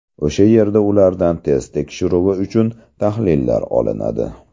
O‘sha yerda ulardan test tekshiruvi uchun tahlillar olinadi.